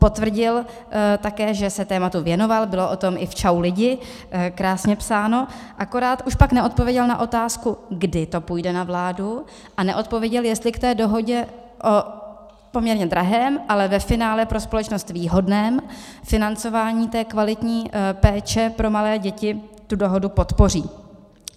Potvrdil také, že se tématu věnoval, bylo o tom i v Čau lidi krásně psáno, akorát už pak neodpověděl na otázku, kdy to půjde na vládu, a neodpověděl, jestli k té dohodě o poměrně drahém, ale ve finále pro společnost výhodném financování kvalitní péče pro malé děti tu dohodu podpoří.